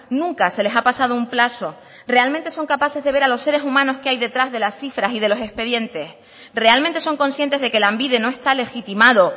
nunca se les ha pasado un plazo realmente son capaces de ver a los seres humanos que hay detrás de las cifras y de los expedientes realmente son conscientes de que lanbide no está legitimado